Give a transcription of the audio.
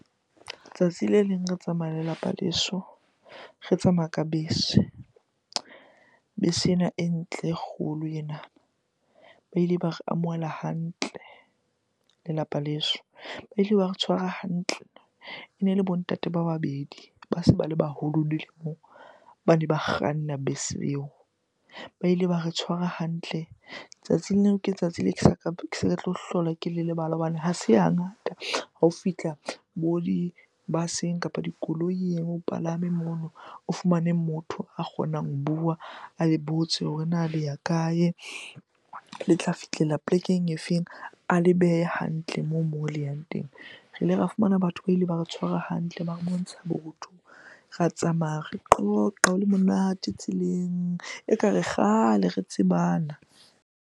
Tsatsi le leng re tsamaya lelapa leso, re tsamaya ka bese. Bese ena e ntle, e kgolo ena. Ba ile ba re amohela hantle lelapa leso, ba ile ba re tshwara hantle. Ene le bo ntate ba babedi ba seng ba le baholo dilemong bane ba kganna bese eo, ba ile ba re tshwara hantle. Tsatsing leo ke tsatsi leo ke sa tlo hlola ke le lebala hobane ha se ha ngata hao fihla bo di-bus-eng kapa dikoloing o palame mono, o fumane motho a kgonang ho bua, a botse hore na le ya kae? Le tla fihlela polekeng e feng? A le behe hantle moo le yang teng. Re ile ra fumana batho ba ile ba re tshware hantle, ba re bontsha botho. Ra tsamaya re qoqa, ho le monate tseleng ekare kgale re tsebana.